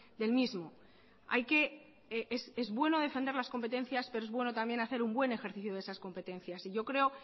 del mismo hay que es bueno defender las competencias pero es bueno también hacer un buen ejercicio de esas competencias y yo creo